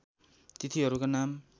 तिथिहरूका नाम